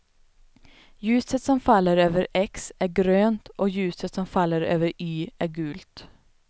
Ljuset som faller över x är grönt och ljuset som faller över y är gult.